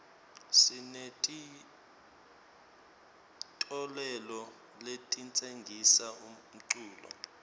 sinetitolole letitsengisa umculo